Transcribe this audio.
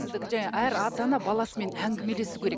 сіздікі жаңа әр ата ана баласымен әңгімелесуі керек